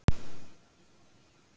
Fyrsti fasi gossins væri kraftmikill